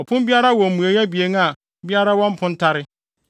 Ɔpon biara wɔ mmuei abien a biara wɔ mpontare.